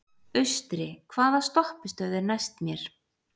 Austri, hvaða stoppistöð er næst mér?